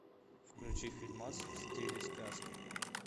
включи фильмас в стиле сказки